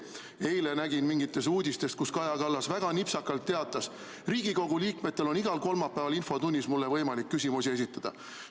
Eile nägin mingeid uudiseid, kus Kaja Kallas väga nipsakalt teatas: Riigikogu liikmetel on igal kolmapäeval infotunnis võimalik mulle küsimusi esitada.